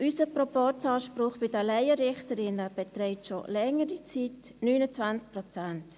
Unser Proporzanspruch bei den Laienrichterinnen beträgt schon längere Zeit 29 Prozent.